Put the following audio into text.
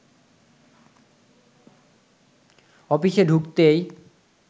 অফিসে ঢুকতেই